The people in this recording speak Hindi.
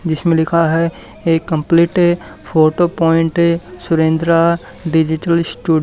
जिसमें लिखा है a complete photo point Surendra digital stew--